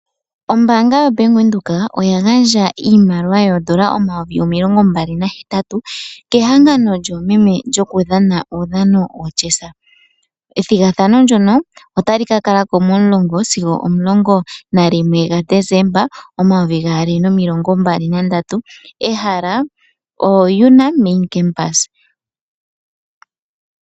Ombaanga yoBank Windhoek oya gandja iimaliwa N$28000 kehangano lyoomeme lyokudhana uudhano woChess. Ethigathano ndyono otali ka kala ko 10- 11 Desemba 2023, ehala oUNAM main campus.